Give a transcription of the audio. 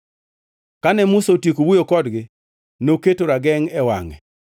Kane Musa otieko wuoyo kodgi, noketo ragengʼ e wangʼe.